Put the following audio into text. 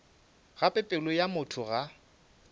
gape pelo ya motho ga